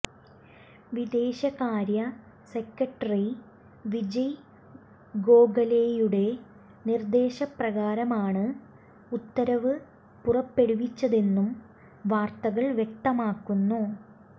വിദേശകാര്യ സെക്രട്ടറി വിജയ് ഗോഖലെയുടെ നിർദേശ പ്രകാരമാണ് ഉത്തരവ് പുറപ്പെടുവിച്ചതെന്നും വാര്ത്തകൾ വ്യക്തമാക്കുന്നു